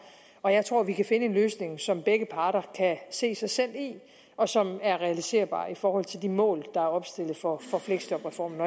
og jeg tror at vi kan finde en løsning som begge parter kan se sig selv i og som er realiserbar i forhold til de mål der er opstillet for for fleksjobreformen